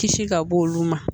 Kisi ka bɔ olu ma